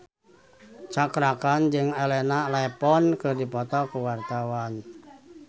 Cakra Khan jeung Elena Levon keur dipoto ku wartawan